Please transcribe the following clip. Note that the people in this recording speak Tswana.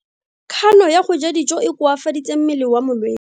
Kgano ya go ja dijo e koafaditse mmele wa molwetse.